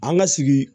An ka sigi